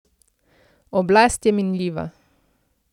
Oblast je minljiva.